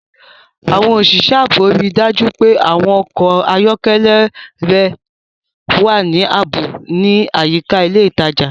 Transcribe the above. Àwọn òṣìṣẹ́ ààbò rí i dájú pé àwọn ọkọ̀ ayọ́kẹ́lẹ́ rẹ wà ní ààbò ní àyíká ilé ìtajà.